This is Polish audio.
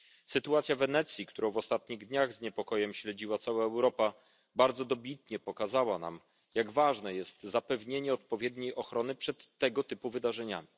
Sytuacja w Wenecji, którą w ostatnich dniach z niepokojem śledziła cała Europa, bardzo dobitnie pokazała nam, jak ważne jest zapewnienie odpowiedniej ochrony przed tego typu wydarzeniami.